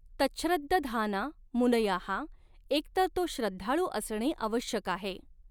तच्छ्रद्दधाना मुनयः एक तर तो श्रद्धाळू असणे आवश्यक आहे.